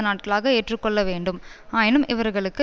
நாட்களாக ஏற்றுக்கொள்ள வேண்டும் ஆயினும் இவர்களுக்கு